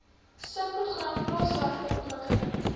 subprogram plaaswerker ontwikkeling